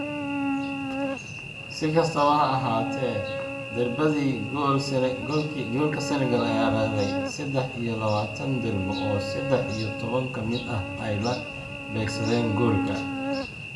Si kastaba ha ahaatee, darbadii goolka Senegal ayaa laaday sedax iyo labataan darbo oo sedax iyo toban ka mid ah ay la beegsadeen goolka.